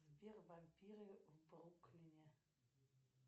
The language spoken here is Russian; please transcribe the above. сбер вампиры в бруклине